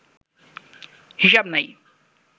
হিশাব নাই